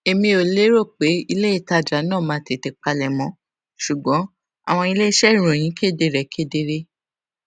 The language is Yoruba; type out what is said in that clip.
èmi ò lérò pé iléìtajà náà máa tètè palẹmọ ṣùgbọn àwọn iléiṣẹ ìròyìn kéde rẹ kedere